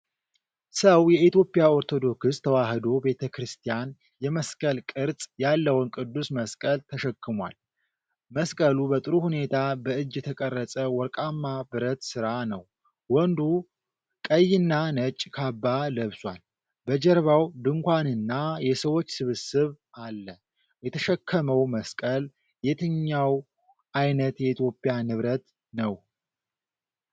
ሰው የኢትዮጵያ ኦርቶዶክስ ተዋሕዶ ቤተ ክርስቲያን የመስቀል ቅርጽ ያለውን ቅዱስ መስቀል ተሸክሟል። መስቀሉ በጥሩ ሁኔታ በእጅ የተቀረጸ ወርቃማ ብረት ሥራ ነው። ወንዱ ቀይና ነጭ ካባ ለብሷል። በጀርባው ድንኳንና የሰዎች ስብስብ አለ። የተሸከመው መስቀል የትኛው ዓይነት የኢትዮጵያ ንብረት ነው?